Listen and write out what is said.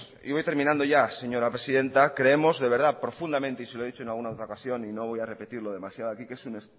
y voy terminando ya señora presidenta creemos de verdad profundamente y se lo he dicho en alguna otra ocasión y no voy a repetirlo demasiado aquí que es un